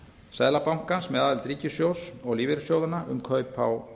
seðlabankans með aðild ríkissjóðs og lífeyrissjóðanna um kaup á